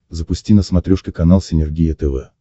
запусти на смотрешке канал синергия тв